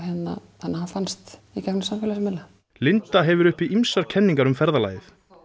þannig að hann fannst í gegnum samfélagsmiðla linda hefur uppi ýmsar kenningar um ferðalagið